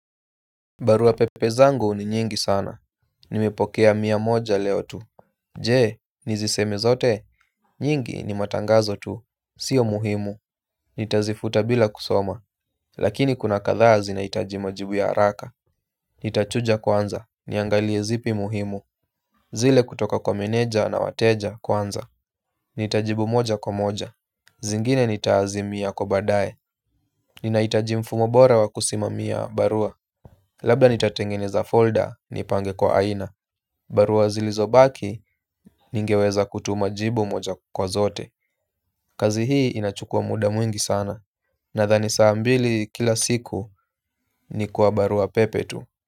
Barua pepe zangu ni nyingi sana. Nimepokea miamoja leo tu. Je, niziseme zote. Nyingi ni matangazo tu. Sio muhimu. Nitazifuta bila kusoma. Lakini kuna kadhaa zinaitaji majibu ya haraka. Nitachuja kwanza. Niangalie zipi muhimu. Zile kutoka kwa meneja na wateja kwanza. Nitajibu moja kwa moja. Zingine nita azimia kwa baadae. Ninaitaji mfumo bora wa kusimamia barua. Labda nitatengeneza folder, nipange kwa aina. Barua zilizo baki, ningeweza kutuma jibu moja kwa zote. Kazi hii inachukuwa muda mwingi sana. Nadhani saa mbili kila siku, ni kwa barua pepe tu.